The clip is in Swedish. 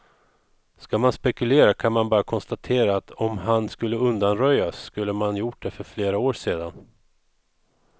Skall man spekulera kan man bara konstatera att om han skulle undanröjas, då skulle man gjort det för flera år sedan.